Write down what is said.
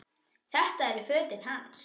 Þetta eru fötin hans!